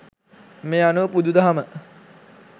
මේ අනුව බුදු දහම